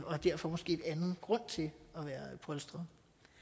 og har derfor måske en anden grund til at være polstret